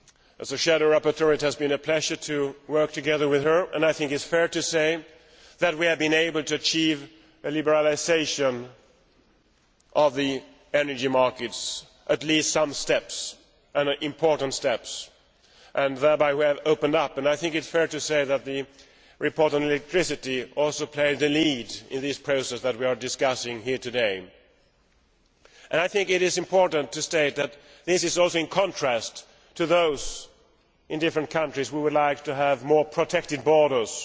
As a shadow rapporteur it has been a pleasure to work together with her, and I think it is fair to say that we have been able to achieve a liberalisation of the energy markets. At least, we have made some important steps, and thereby we have opened up the market. I think it is fair to say that the report on electricity also played the lead in the process that we are discussing here today. I think it is important to state that this is also in contrast to those in different countries who would like to have more protected borders